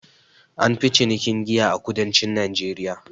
An fi cinikin giya a kudancin najeriya